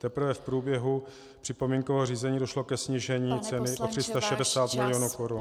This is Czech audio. Teprve v průběhu připomínkového řízení došlo ke snížení ceny o 360 mil. korun.